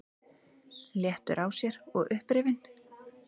Léttur á sér og upprifinn.